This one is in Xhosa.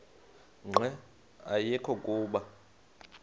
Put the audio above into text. nqe ayekho kuba